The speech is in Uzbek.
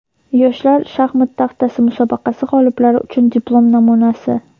"Yoshlar shaxmat taxtasi" musobaqasi g‘oliblari uchun diplom namunasi.